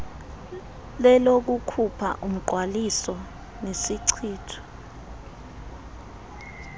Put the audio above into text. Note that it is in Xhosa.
lelokukhupha umngqwaliso nesichitho